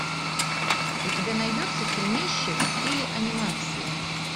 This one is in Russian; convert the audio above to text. у тебя найдется фильмище в стиле анимации